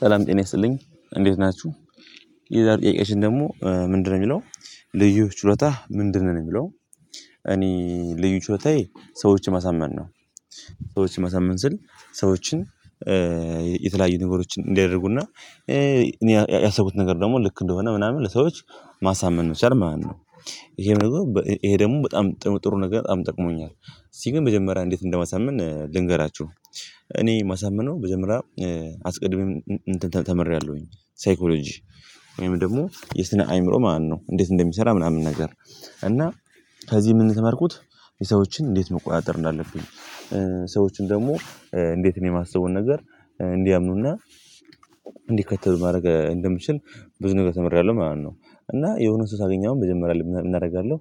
ሰላም ጤና ይስጥልኝ እንዴት ናችሁ። ሌላው ጥያቄአቺን ደግሞ ምንድ ነው የሚለው ልዩ ችሎታህ ምንድነው የሚለው? እኔ ልዩ ችሎታዬ ሰዎች ማሳመን ነው። ሰዎች ማሳምን ስል ሰዎችን የተለያዩ ነገሮችን እንዲያደርጉና እኔ ያሰብኩት ነገር ደግሞ ልክ እንደሆነ ምናምን ለሰዎች ማሳመን መቻል ማለት ነው። ይሄ ደግሞ ይሄ ደግሞ በጣም ጥሩ ነገር በጣም ጠቅሞኛል። እስቲ ግን በመጀመሪያ እንዴት እንደማሳምን ልንገራችሁ ነው። እኔ ማሳመነው በመጀመሪያ አስቀድሜም ተምሬያለሁኝ ሳይኮሎጂ ወይም ደግሞ የስነ አይምሮ ማን ነው እንዴት እንደሚሰራ ምናምን ነገር እና ከዚህ ምንድነው የተማርኩት? የሰዎችን እንዴት መቆጣጠር እንዳለፉኝ ሰዎችን ደግሞ እንዴት እኔ የማስበውን ነገር እንዲያምኑና እንዲከተሉ ማድረግ እንደምችል ብዙ ነገር ተምሬያለሁ ማለት ነው። እና የሆነ ሰው ሳገኝ አሁን መጀመሪያ ምን አረጋለሁ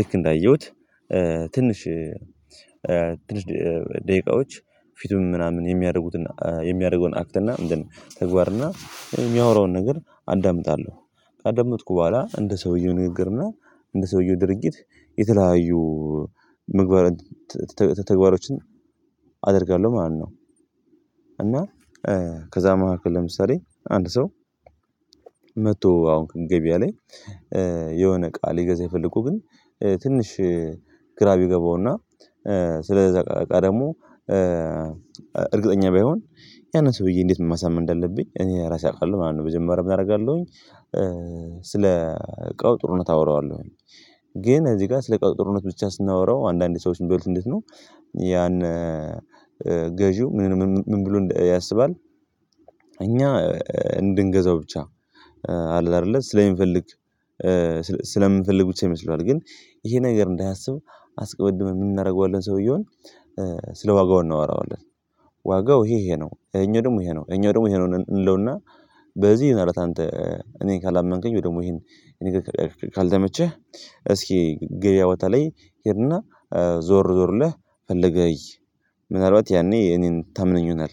ልክ እንዳየሁት ትንሽ ትንሽ ደቂቃዎች ፊቱን ምናምን የሚያደርጉትን የሚያደርገውን አክት እና እንደ ተግባር እና የሚያወራውን ነገር አዳምጣለሁ። ካዳመጥኩ በኋላ እንደ ሰውየው ንግግርና እንደ ሰውየው ድርጊት የተለያዩ ምግባር ተግባሮችን አደርጋለሁ ማለት ነው። እና ከዛ መካከል ለምሳሌ አንድ ሰው አሁን ገበያ ላይ የሆነ እቃ ሊገዛኝ ፈለጎ ግን ትንሽ ግራ ቢገባውና ስለዛ አቃ ደግሞ እርግጠኛ ባይሆን ያንን ሰውዬ እንዴት ማሳመን እንደለብኝ እኔ ራሴ አውቃለሁ ምናምን መጀመሪያ ምን አረጋለሁኝ። ስለ እቃው ጥሩነት አወራዋለሁኝ ግን እዚህ ጋር ስለ አቃው ጥሩነት ብቻ ስናወራው አንዳንዴ ሰዎችን የሚበሉት እንዴት ነው? ያን ገዥው ምን ምን ብሎ ያስባል? እኛ እንድንገዛው ብቻ አለ አደለ ስሚፈልግ ፈልግ ስለምንፈልግ ብቻ ይመስለዋል ግን ይሄ ነገር እንዳያስብ አስቀድመን ምን አናደርገዋለን ሰውየውን ስለ ዋጋው እናወራዋለን። ዋጋው ይሄ ይሄ ነው እኛ ደግሞ ይሄ ነው እኛ ደግሞ ይሄ ነው እንለውና በዚህ አረ አንተ እኔን ካላመንከኝ ወይ ደግሞ ይሄን ካልተመቸህ እስኪ ገበያ ቦታ ላይ ሄድና ዞር ዞር ብልህ ፈለገህ አይ ምናልባት ያኔ እኔን ታምነኝ ይሆናል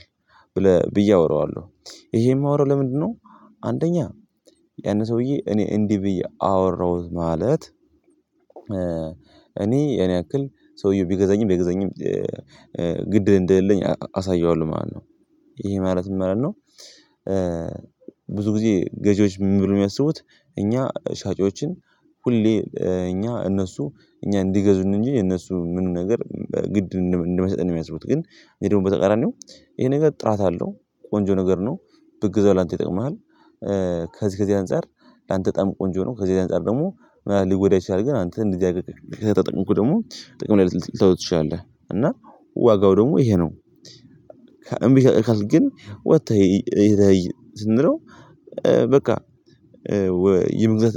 ብለህ ብዬ አወራዋለሁ። ይሄ የማወራው ለምንድነው? አንደኛ ያን ሰውዬ እኔ እንዲህ ብዬ አወራሁት ማለት እኔ የኔ ያክል ሰውየው ቢገዛኝም ባይገዛኝም ግድ እንደሌለኝ አሳየዋለሁ ማለት ነው። ይሄ ማለት ምን ማለት ነው? ብዙ ጊዜ ገዢዎች ምን ብሎ ነው የሚያስቡት? እኛ ሻጮችን ሁሌ እኛ እነሱ እኛ እንዲገዙን እንጂ የነሱ ምኑ ነገር ግድ እንማይሰጠን ነው የሚያስቡት ግን እኔ ደግሞ በተቃራኒው ይሄ ነገር ጥራት አለው ቆንጆ ነገር ነው ብገዛው ለአንተ ይጠቅምሃል። ከዚህ ከዚህ አንፃር ላንተ በጣም ቆንጆ ነው ከዚህ ከዚህ አንፃር ደግሞ ሊጎዳህ ይችላል ግን አንተ እንደዚህ አድርገህ ከተጠቀምከው ደግሞ ጥቅም ላይ ልታዉለው ትቺላለህ እና ዋጋው ደግሞ ይሄ ነው። እምቢ ካልክ ግን ወጥተህ እይ እኔይ ስንለው በቃ የመግዛት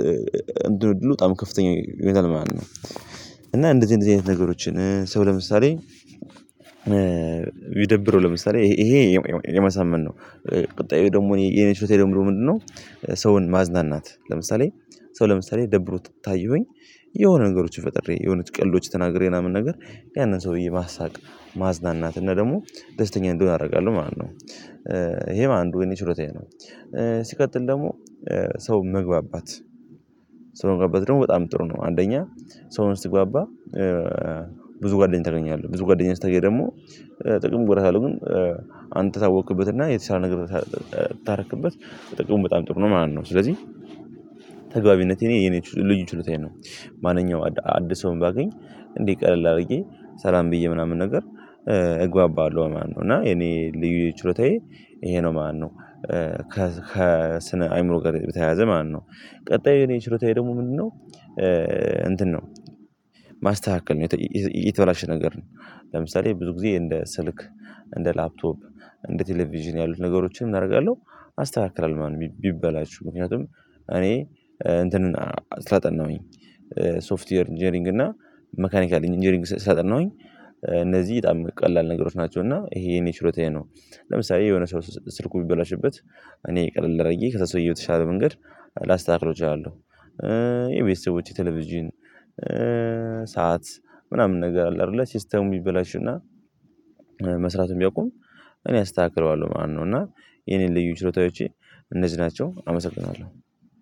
እንትን እድሉ በጣም ከፍተኛ ይሆናል ማለት ነው። እና እንደዚህ እንደዚህ አይነት ነገሮችን ሰው ለምሳሌ ይደብረው ለምሳሌ ይሄ የማሳመን ነው ቁጣ ደግሞ የኔ ችሎታ ደግሞ ምንድነው? ሰውን ማዝናናት ለምሳሌ ሰው ለምሳሌ ደብሮ ታየሁኝ የሆነ ነገሮችን ፈጥሬ የሆኑት ቀልዶች ተናግሬ ምናምን ነገር ያንን ሰውዬ ማሳቅ ማዝናናት እና ደግሞ ደስተኛ እንዲሆን አደርጋለሁ ማለት ነው። ይሄ አንዱ የኔ ቺሎታዬ ነው። ሲቀጥል ደግሞ ሰው መግባባት ሰው መግባባት ደግሞ በጣም ጥሩ ነው። አንደኛ ሰውን ስግባባ ብዙ ጓደኛ ታገኛለህ ብዙ ጓደኛ ስትገኝ ደግሞ ጥቅምም ጉዳት አለው ግን አንተ ታወክበትና የተሻለ ነገር ታረክበት ጥቅሙን በጣም ጥሩ ነው ማለት ነው። ስለዚህ ተግባቢነቴ የኔ ልዩ ችሎታዬ ነው ማንኛውም አዲስ ሰውም ባገኝ እንዴ ቀለል አድርጌ ሰላም ብዬ ምናምን ነገር እግባባለሁ ማለት ነው እና የኔ ልዩ ችሎታዬ ይሄ ነው ማለት ነው። ከስነ አይምሮ ጋር በተያያዘ ማለት ነው ቀጣዩ እኔ ችሎታይ ደግሞ ምንድነው? ነው እንትን ነው ማስተካከል ነው። የተበላሸ ነገር ነው ለምሳሌ ብዙ ጊዜ እንደ ስልክ እንደ ላፕቶፕ እንደ ቴሌቪዥን ያሉትን ነገሮችን ምን አደርጋለሁ አስተካክላለሁ ማለት ነው። ቢበላሹ ምክንያቱም እንትን ስላጠናሁኝ ሶፍትዌር ኢንጂነሪንግ እና መካኒካል ኢንጂነሪንግ ስላጠናሁኝ እነዚህ በጣም ቀላል ነገሮች ናቸው እና ይሄ የኔ ቺሎታየ ነው። ለምሳሌ የሆነ ሰው ስልኩ ቢበላሽበት እኔ ቀለል አድረግዬ ከዛ ሰውዬ የተሻለ መንገድ ላስተካክለው እቺላለሁ። የቤተሰቦቼ ቴሌቪዥን ሰዓት ምናምን ነገር አለ አይደለ ሲስተሙ ቢበላሽ እና መስራቱን ቢያቁም እኔ አስተካክለዋለሁ ማለት ነው። እና የኔን ልዩ ችሎታዎቼ እነዚህ ናቸው አመሰግናለሁ።